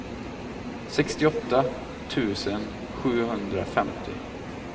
sextioåtta tusen sjuhundrafemtio